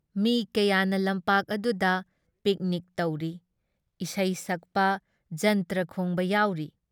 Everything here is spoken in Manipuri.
ꯃꯤ ꯀꯌꯥꯅ ꯂꯝꯄꯥꯛ ꯑꯗꯨꯗ ꯄꯤꯛꯅꯤꯛ ꯇꯧꯔꯤ, ꯏꯁꯩ ꯁꯛꯄ, ꯖꯟꯇ꯭ꯔ ꯈꯣꯡꯕ ꯌꯥꯎꯔꯤ ꯫